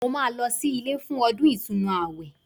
Mo máa lọ sí ilé fún ọdún ìtúnu àwẹ̀